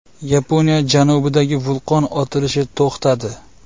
Yaponiya janubidagi vulqon otilishi to‘xtadi.